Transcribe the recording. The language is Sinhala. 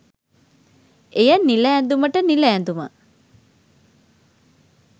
එය නිල ඇඳුමට නිල ඇඳුම